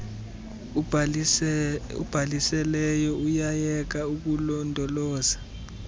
ubhalisileyo uyayeka ukulondoloza